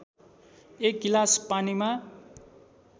एक गिलास पानीमा